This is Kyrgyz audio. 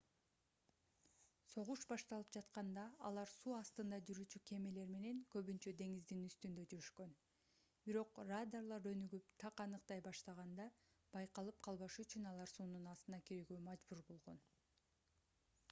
согуш башталып жатканда алар суу астында жүрүүчү кемелер менен көбүнчө деңиздин үстүндө жүрүшкөн бирок радарлар өнүгүп так аныктай баштаганда байкалып калбашы үчүн алар суунун астына кирүүгө мажбур болгон